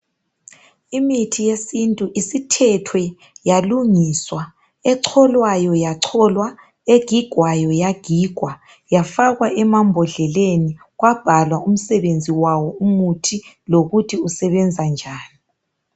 Imithi yesintu isithethwe yalungiswa echolwayo yacholwa egigwayo yagigwa yafakwa emabhondlele kwabhalwa umsebenzi wawo umuthi lokuthi usebenza njani.